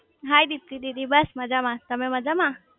હાય રિદ્ધિ દીદી બસ મજામાં તમે મજામાં?